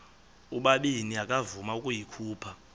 ubabini akavuma ukuyikhupha